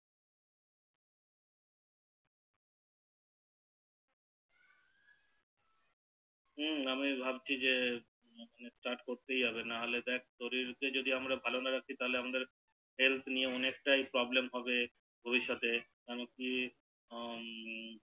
হু আমি ভাবছি যে Start করতেই হবে নাহলে দেখ শরীর যদি আমরা ভালো না রাখি তাহলে আমাদের Health নিয়ে অনেক টাই Problem হবে ভবিষ্যতে মানে কি হু